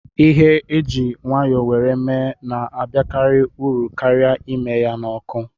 Ihe e ji nwayọ were mee na-abakari uru karịa ime ya n'ọkụ.